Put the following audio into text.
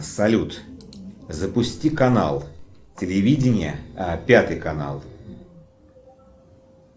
салют запусти канал телевидения пятый канал